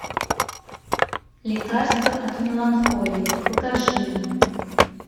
лекарство от меланхолии покажи мне